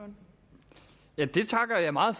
meget